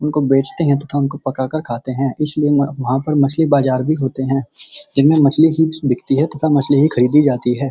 उनको बेचते हैं तथा पकाकर खाते हैं इसलिए वहां वहाँ पर मछली बाजार भी होते हैं जिनमे मछली ही बिकती है तथा मछली ही खरीदी जाती है।